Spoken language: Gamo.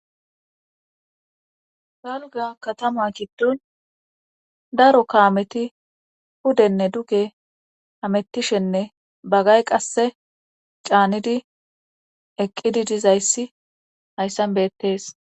galga katama giddon daro kaameti pudenne duge hamettishenne bagay qasse caanidi eqqidi dizayssi hayssan beettees